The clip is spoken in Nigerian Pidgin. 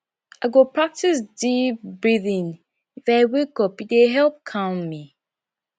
i go practice deep breathing if i wake up e dey help calm me